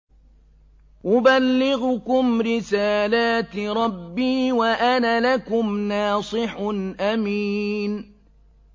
أُبَلِّغُكُمْ رِسَالَاتِ رَبِّي وَأَنَا لَكُمْ نَاصِحٌ أَمِينٌ